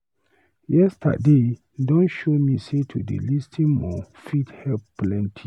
Yesterday don show me sey to dey lis ten more fit help plenty.